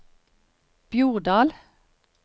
Bjordal